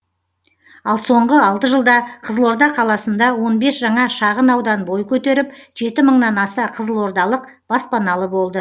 ал соңғы алты жылда қызылорда қаласында он бес жаңа шағын аудан бой көтеріп жеті мыңнан аса қызылордалық баспаналы болды